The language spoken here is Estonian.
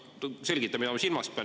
Selgitan, mida ma silmas pean.